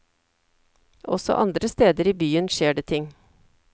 Også andre steder i byen skjer det ting.